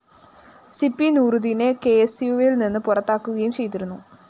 Sippy നൂറുദ്ദീനെ K S യുവില്‍ നിന്ന് പുറത്താക്കുകയും ചെയ്തിരുന്നു